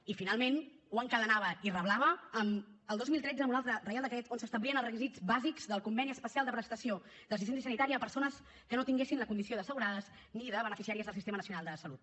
i finalment ho encadenava i reblava el dos mil tretze amb un altre decret on s’establien els requisits bàsics del conveni especial de prestació d’assistència sanitària a persones que no tinguessin la condició d’assegurades ni de beneficiàries del sistema nacional de salut